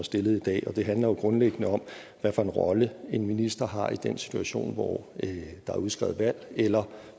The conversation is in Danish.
stillet i dag og det handler jo grundlæggende om hvad for en rolle en minister har i den situation hvor der er udskrevet valg eller